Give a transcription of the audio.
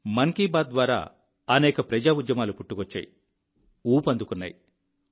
మన్ కీ బాత్ ద్వారా అనేక ప్రజా ఉద్యమాలు పుట్టుకొచ్చాయి ఊపందుకున్నాయి